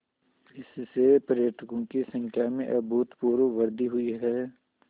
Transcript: इससे पर्यटकों की संख्या में अभूतपूर्व वृद्धि हुई है